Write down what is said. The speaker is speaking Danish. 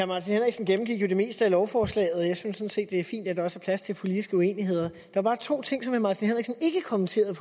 martin henriksen gennemgik jo det meste af lovforslaget jeg synes sådan set det er fint at der også er plads til politiske uenigheder der var to ting som herre martin henriksen ikke kommenterede